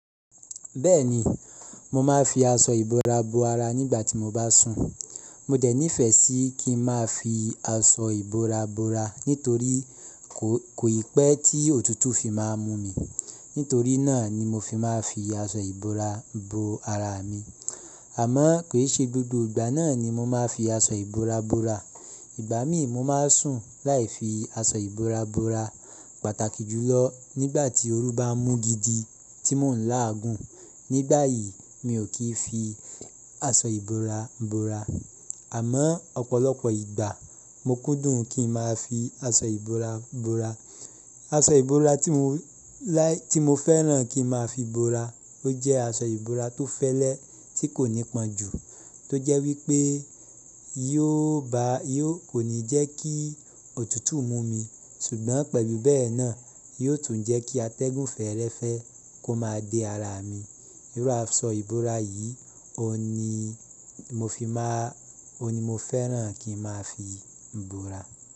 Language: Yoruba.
Bẹ́ẹ̀ni, mo máa ń fi aṣọ ìbora bo ara nígbà tí mo bá sùn. Mo dẹ̀ nífẹ̀ẹ́ sí kí ń má fi aṣọ ìbora bora nítorí kò ì pẹ́ tí òtútù fi má mú mi. Nítorí náà ni mo fi máa ń fi aṣọ ìbora bo ara mi. Àmọ́ kì í ṣe gbogbo ìgbà náà ni mo máa ń fi aṣọ ìbora bora. Ìgbà mí mo máa ń sùn láì fi aṣọ ìbora bora. Pàtàkì jùlọ nígbà tí oru bá ń mú gidi tí mò ń láàgun. Nígbà yìí mi ò kí ń fi aṣọ ìbora bora. Àmọ́ ọ̀pọ̀lọpọ̀ ìgbà mo kúndùn kí ń má a fi aṣọ ìbora bora. Aṣọ ìbora tí mo láì tí mo fẹ́ràn kí ń máa fi bora ó jẹ́ aṣọ ìbora tó fẹ́lẹ́ tí kò nípọn jù tó jẹ́ wípé yóò bá yóò kò ní jẹ́ kí òtútù mú mi ṣùgbọ́n pẹ̀lú bẹ́ẹ̀ náà yóò tún jẹ́ kí atẹ́gùn fẹ́ẹ́rẹ́fẹ́ kó má a dé ara mi. Irú aṣọ ìbora yìí òun ní mo fi má a òun ní mo fẹ́ràn kí ń má a fi bora.